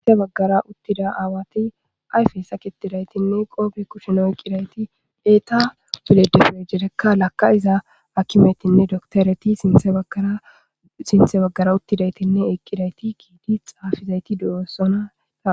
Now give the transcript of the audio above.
Guyye baggera uttida awati ayffe sakitidaytine qoppe kushshen oykkidayti eeta pillejelejereka lakaiiza akkimetinne dokkittereti sinththe baggera uttidayttine eqqidayti xaffizayti de'ossona ha....